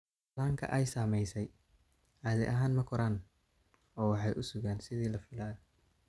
Dhallaanka ay saamaysay caadi ahaan ma koraan oo waxay u sugaan sidii la filayo.